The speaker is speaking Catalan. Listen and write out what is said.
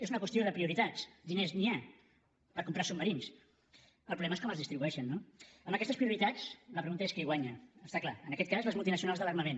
és una qüestió de prioritats de diners n’hi ha per comprar submarins el problema és com els distribueixen no amb aquestes prioritats la pregunta és qui guanya està clar en aquest cas les multinacionals de l’armament